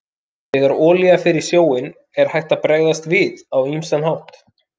Þegar olía fer í sjó er hægt að bregðast við á ýmsan hátt.